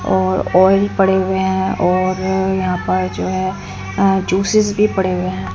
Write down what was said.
और ऑयल पड़े हुए हैं और यहां पर जो है अह जूसस भी पड़े हुए हैं।